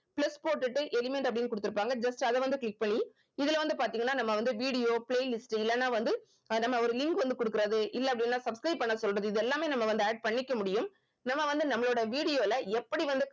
plus போட்டுட்டு element அப்படின்னு குடுத்திருப்பாங்க just அதை வந்து click பண்ணி இதுல வந்து பாத்தீங்கன்னா நம்ம வந்து video playlist இல்லன்னா வந்து அஹ் நம்ம ஒரு link வந்து குடுக்கறது இல்ல அப்படின்னா subscribe பண்ண சொல்றது இதெல்லாமே நம்ம வந்து add பண்ணிக்க முடியும் நம்ம வந்து நம்மளோட video ல எப்படி வந்து